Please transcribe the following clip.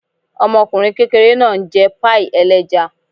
Ọmọkùnrin kékeré náà ń jẹ páàì ẹlẹ́ja